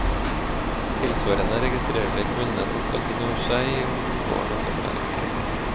Tilsvarende registrerer de kvinnene som skal til nord seg om våren og sommeren.